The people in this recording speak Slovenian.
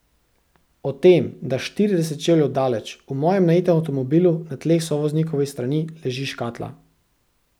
O tem, da štirideset čevljev daleč, v mojem najetem avtomobilu, na tleh sovoznikove strani, leži škatla.